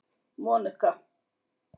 Monika